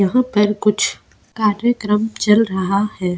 यहां पर कुछ कार्यक्रम चल रहा है.